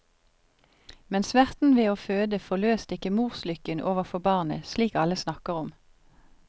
Men smerten ved å føde forløste ikke morslykken overfor barnet, slik alle snakker om.